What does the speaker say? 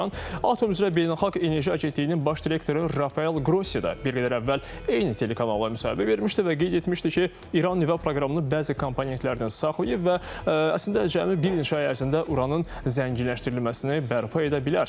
Atom üzrə Beynəlxalq Enerji Agentliyinin baş direktoru Rafael Qrossi də bir qədər əvvəl eyni telekanala müsahibə vermişdi və qeyd etmişdi ki, İran nüvə proqramını bəzi komponentlərini saxlayıb və əslində cəmi bir neçə ay ərzində uranın zənginləşdirilməsini bərpa edə bilər.